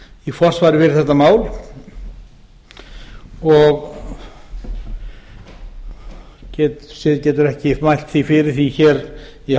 í forsvari fyrir þetta mál og getur því ekki mælt fyrir því hér í